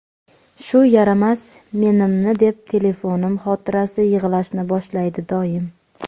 shu yaramas "men" imni deb telefonim xotirasi yig‘lashni boshlaydi doim.